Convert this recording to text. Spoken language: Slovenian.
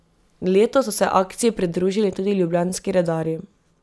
Letos so se akciji pridružili tudi ljubljanski redarji.